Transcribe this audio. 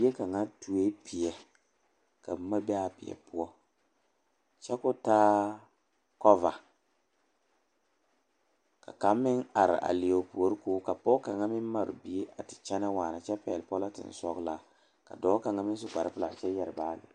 Neɛ kaŋa tuoe peɛ ka boma be a peɛ poɔ kyɛ k,o taa kɔva ka kaŋ meŋ are a leɛ o puori k,o ka pɔge kaŋ meŋ mare bie a te kyɛnɛ waana kyɛ pɛgle pɔlenten sɔglaa ka dɔɔ kaŋ meŋ su kparepelaa kyɛ yɛre baage.